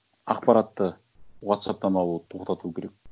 ақпаратты уотсапптан алуды тоқтату керек